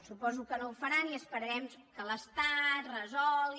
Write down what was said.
suposo que no ho faran i esperarem que l’estat resolgui